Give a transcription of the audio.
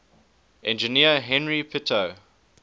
engineer henri pitot